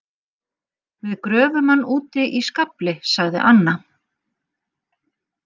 Við gröfum hann úti í skafli sagði Anna.